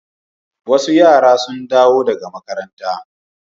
Wasu yara sun dawo daga makaranta.